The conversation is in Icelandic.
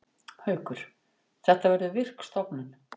Haukur: Þetta verður virk stofnun.